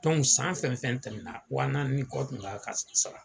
san fɛn fɛn tɛmɛna wa naani ni kɔ tun kan ka sara.